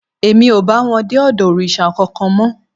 Èmi ò bá wọn dé ọ̀dọ̀ òrìṣà kankan mọ́